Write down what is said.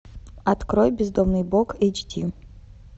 открой бездомный бог эйч ди